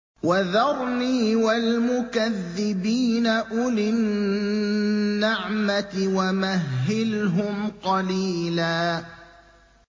وَذَرْنِي وَالْمُكَذِّبِينَ أُولِي النَّعْمَةِ وَمَهِّلْهُمْ قَلِيلًا